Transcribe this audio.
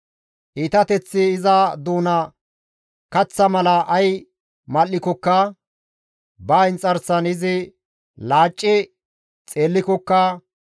«Iitateththi iza doonan kaththa mala ay mal7ikkoka ba inxarsan izi laacci xeellikokka,